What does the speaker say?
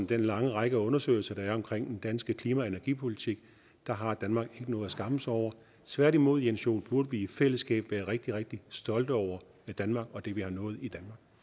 den lange række af undersøgelser der er om den danske klima og energipolitik har danmark noget at skamme sig over tværtimod jens joel burde vi i fællesskab være rigtig rigtig stolte over danmark og det vi har nået i